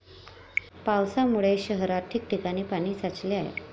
पावसामुळे शहरात ठिकठिकाणी पाणी साचले आहे.